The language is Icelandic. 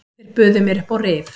Þeir buðu mér upp á rif.